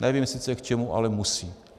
Nevím sice k čemu, ale musí.